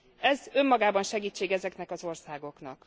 Ez önmagában segítség ezeknek az országoknak.